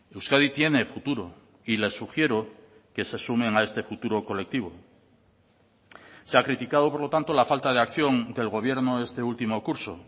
euskadi tiene futuro y le sugiero que se sumen a este futuro colectivo se ha criticado por lo tanto la falta de acción del gobierno este último curso